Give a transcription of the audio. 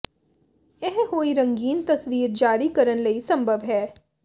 ਇਹ ਹੋਈ ਰੰਗੀਨ ਤਸਵੀਰ ਜਾਰੀ ਕਰਨ ਲਈ ਸੰਭਵ ਹੈ